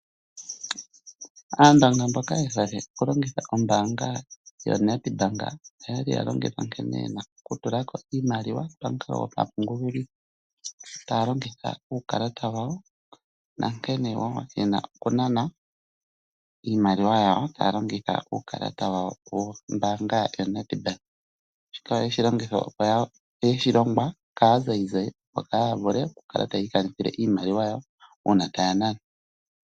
Aandonga mboka ye hole oku longitha ombanga yoNedbank oyali yalombelwa nkene yena oku tulako iimaliwa pamukalo gopanguli taya longitha uukalata wawo nankene wo yena oku nana iimaliwa yawo taya longitha uukalata wa wo wombanga yoNedbank. Shika oyeshi longwa ka zayizayi opo kaya vule oku kala tayi ikanithile iimaliwa yawo una taya nana.